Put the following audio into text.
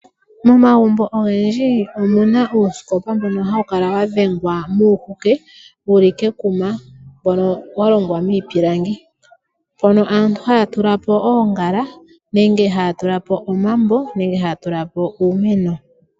Momagumbo ogendji omu na uusikopa mboka hawu kala wa dhengelwa moohuke wu li kekuma mboka wa longwa miipilangi. Aantu ohaya tenteke po oongala nenge omambo nenge uumeno.